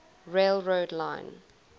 rail road line